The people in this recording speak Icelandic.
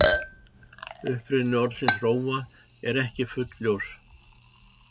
Uppruni orðsins rófa er ekki fullljós.